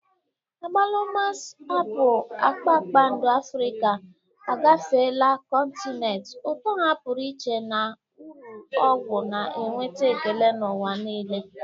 Agbalumas, apụl kpakpando Afrịka, agafeela kọntinent, ụtọ ha pụrụ iche na uru ọgwụ na-enweta ekele n'ụwa niile.